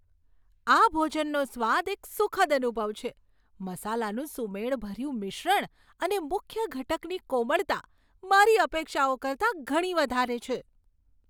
આ ભોજનનો સ્વાદ એક સુખદ અનુભવ છે, મસાલાનું સુમેળભર્યું મિશ્રણ અને મુખ્ય ઘટકની કોમળતા, મારી અપેક્ષાઓ કરતાં ઘણી વધારે છે.